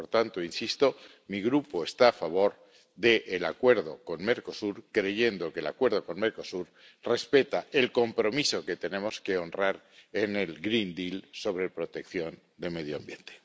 Por tanto ―insisto―, mi Grupo está a favor del Acuerdo con Mercosur, creyendo que el Acuerdo con Mercosur respeta el compromiso que tenemos que honrar en el Pacto Verde Europeo sobre protección de medio ambiente.